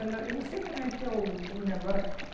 Ela, eu não sei como é que é o o negócio.